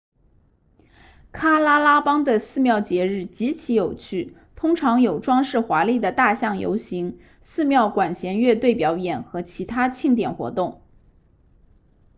喀拉拉邦的寺庙节日极其有趣通常有装饰华丽的大象游行寺庙管弦乐队表演和其他庆典活动